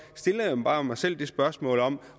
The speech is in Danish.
stiller jeg bare mig selv spørgsmålet om